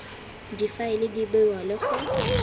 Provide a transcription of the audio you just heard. difaele di bewa le go